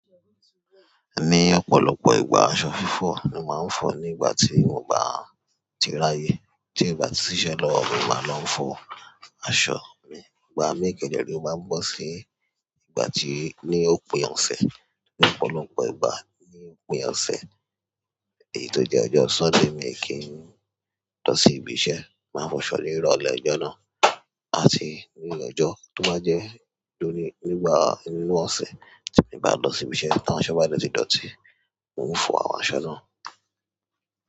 Ní ọ̀pọ̀lọpọ̀ ìgbà aṣọ fífọ̀ ni máa ń fọ̀ nígbà tí mo bá tirá ye. Tí ǹ bá ti ṣiṣẹ́ lọ́wọ́ mi, máa lọ ń fọ aṣọ mi. Ìgbà míì kẹ̀dẹ̀ rèé ó máa ń bọ́ sí ìgbà tí ní òpin ọ̀sẹ̀. Ní ọ̀pọ̀lọpọ̀ ìgbà ní òpin ọ̀sẹ̀ èyí tó jẹ́ bí ọjọ́ Sọ́ndè mi kì ń lọ sí ibi iṣẹ́. Máa fọ aṣọ ni ìrọ̀lẹ́. Ọjọ́ náà, maa ti mú ọjọ́ tó máa jẹ́ tó ní nígbà inú ọ̀sẹ̀ tí mo bá lọ sí ibi iṣẹ́ tí àwọn aṣọ bá dẹ̀ ti dọ̀tí, hun o fọ àwọn aṣọ náà.